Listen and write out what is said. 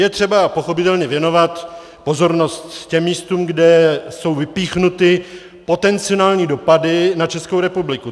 Je třeba pochopitelně věnovat pozornost těm místům, kde jsou vypíchnuty potenciální dopady na Českou republiku.